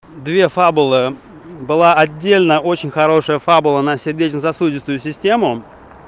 две фабулы была отдельно очень хорошая фабула на сердечно-сосудистую систему